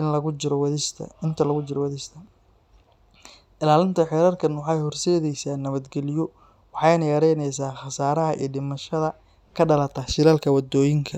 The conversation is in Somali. inta lagu jiro wadista. Ilaalinta xeerarkan waxay horseedeysaa nabadgelyo, waxayna yareyneysaa khasaaraha iyo dhimashada ka dhalata shilalka waddooyinka.